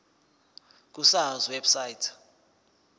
ku sars website